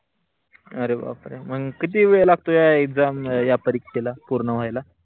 अरे बापरे मग किती वेळ लागतो या exam या परीक्षेला पूर्ण व्हायेला?